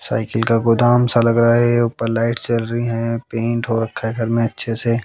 Cycle का गोदाम सा लग रहा है ऊपर लाइट जल रही हैं पेंट हो रखा है घर में अच्छे से।